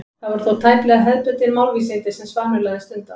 Það voru þó tæplega hefðbundin málvísindi sem Svanur lagði stund á.